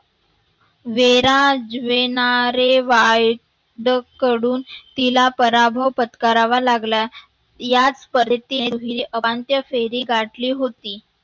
वेराज वेणारे वाळके कडून तिला पराभव पत्करावा लागला. याच अमान्त्य फेरी गाठली होती.